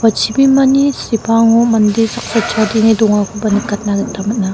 ua chibimani sepango mande saksa chadenge dongakoba nikatna gita man·a.